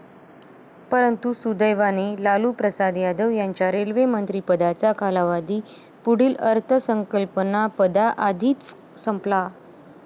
परंतू दुर्दैवाने लालू प्रसाद यादव यांच्या रेल्वे मंत्री पदाचा कालावधी पुढील अर्थसंकल्पपदाआधीच संपला.